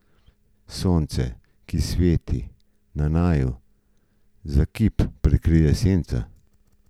Sonce, ki sveti na naju, za hip prekrije senca.